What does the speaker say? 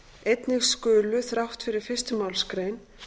einnig skulu þrátt fyrir fyrstu málsgrein